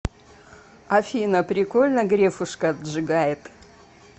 афина прикольно грефушка отжигает